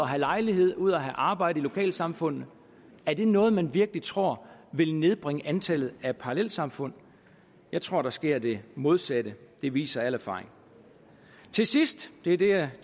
have lejlighed ud at have arbejde i lokalsamfundene er det noget man virkelig tror vil nedbringe antallet af parallelsamfund jeg tror der sker det modsatte det viser al erfaring til sidst vil jeg